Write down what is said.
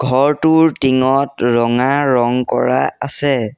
ঘৰটোৰ টিংত ৰঙা ৰং কৰা আছে।